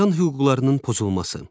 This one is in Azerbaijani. İnsan hüquqlarının pozulması.